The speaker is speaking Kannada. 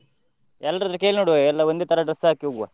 ಎಲ್ರತ್ರ ಕೇಳಿ ನೋಡ್ವ ಎಲ್ಲ ಒಂದೇ ತರ dress ಹಾಕಿ ಹೋಗ್ವ.